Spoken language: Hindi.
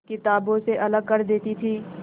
किताबों से अलग कर देती थी